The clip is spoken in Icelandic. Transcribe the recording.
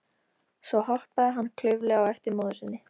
Svo hoppaði hann klaufalega á eftir móður sinni.